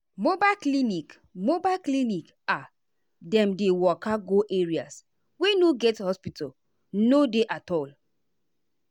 mobile clinic mobile clinic ah dem dey waka go areas wey no get hospital no dey at all.